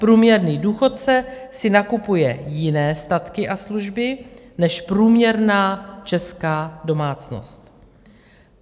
Průměrný důchodce si nakupuje jiné statky a služby než průměrná česká domácnost.